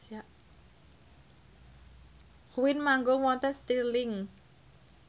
Queen manggung wonten Stirling